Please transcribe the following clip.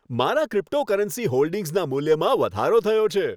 મારા ક્રિપ્ટોકરન્સી હોલ્ડિંગ્સના મૂલ્યમાં વધારો થયો છે.